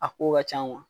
A ko ka can